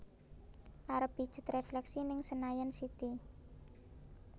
Arep pijet refleksi ning Senayan City